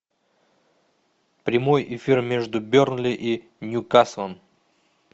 прямой эфир между бернли и ньюкаслом